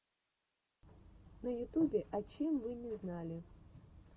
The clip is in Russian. на ютубе о чем вы не знали